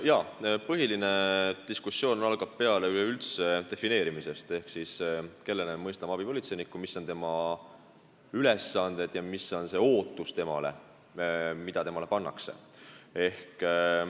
Jaa, põhiline diskussioon algab peale üleüldse defineerimisest ehk sellest, keda me mõistame abipolitseiniku all, mis on tema ülesanded ja mida temalt oodatakse.